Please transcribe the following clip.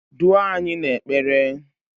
duo anyị n'ekpere!